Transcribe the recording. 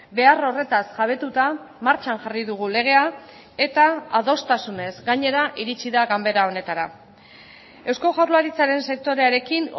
behar horretaz jabetuta martxan jarri dugu legea eta adostasunez gainera iritsi da ganbera honetara eusko jaurlaritzaren sektorearekin